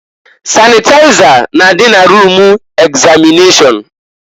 Sanịtaịza na-adị na rum egzamịnashọn.